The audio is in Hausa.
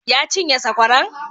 Ya cinye sakwaran?